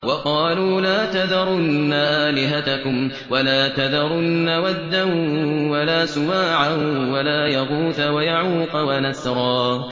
وَقَالُوا لَا تَذَرُنَّ آلِهَتَكُمْ وَلَا تَذَرُنَّ وَدًّا وَلَا سُوَاعًا وَلَا يَغُوثَ وَيَعُوقَ وَنَسْرًا